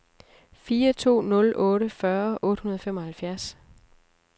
fire to nul otte fyrre otte hundrede og femoghalvfjerds